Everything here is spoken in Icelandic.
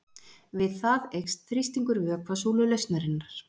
við það eykst þrýstingur vökvasúlu lausnarinnar